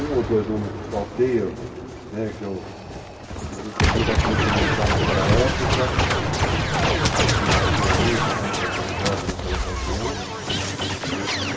Um ou dois nomes falteiam, inclusive da Polícia Militar naquela época, que atuou muito contra os jovens naquela ocasião.